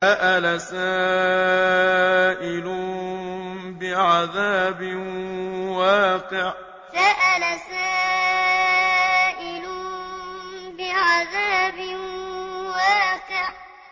سَأَلَ سَائِلٌ بِعَذَابٍ وَاقِعٍ سَأَلَ سَائِلٌ بِعَذَابٍ وَاقِعٍ